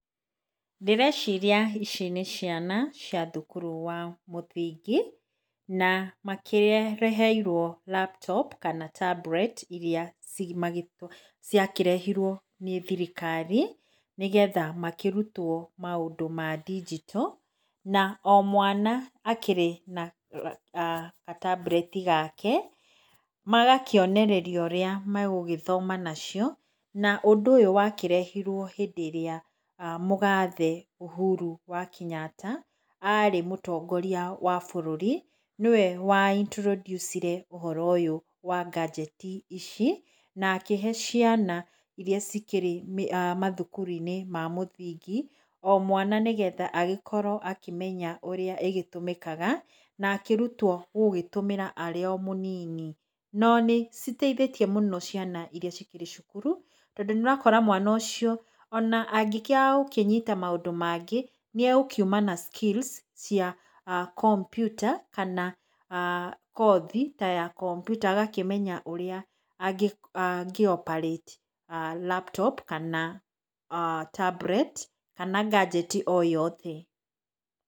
Ndĩreciria ici nĩ ciana cia thukuru wa mũthingi na makĩreheirwo laptop kana tablet irĩa ciakĩrehirwo nĩ thirikari, nĩgetha makĩrutwo maũndũ ma ndinjito, na omwana akĩrĩ na ga- tablet gake. Magakĩonererio ũrĩa megũgĩthoma nacio na ũndũ ũyũ wakĩrehirwo hĩndĩ ĩrĩa mũgathe Uhuru wa Kenyatta arĩ mũtongoria wa bũrũri, nĩwe wa introduce -ire ũhoro ũyũ wa gadget ici na akĩhe ciana ĩrĩa cikĩrĩ mathukuru-inĩ mamũthingi o mwana, nĩgetha agĩkorwo akĩmenya ũrĩa ĩgĩtũmĩkaga na akĩrutwo gũtũmĩra arĩ o mũnini. No nĩciteithĩtie mũno ciana irĩa cikĩrĩ cukuru, tondũ nĩũrakora mwana ũcio ona angĩaga gũkĩnyita maũndũ mangĩ nĩegũkiuma na skills cia kompiuta kana kothi ta ya kompiuta agakĩmenya ũrĩa angĩ- operate laptop kana tablet kana gadget o yothe .